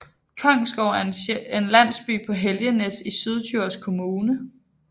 Kongsgårde er en landsby på Helgenæs i Syddjurs Kommune